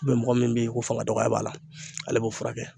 mɔgɔ min bɛ yen ko fanga dɔgɔya b'a la, ale b'o furakɛ.